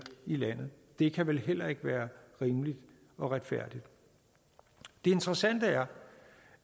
i landet det kan vel heller ikke være rimeligt og retfærdigt det interessante er